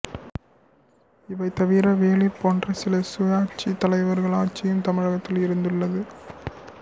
இவைதவிர வேளிர் போன்ற சில சுயாட்சி தலைவர்கள் ஆட்சியும் தமிழகத்தில் இருந்துள்ளது